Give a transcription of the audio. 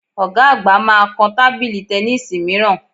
Ọ̀ga àgbà máa kan tábìlì tẹníìsì mìíràn